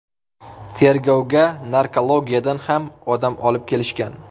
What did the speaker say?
Tergovga narkologiyadan ham odam olib kelishgan.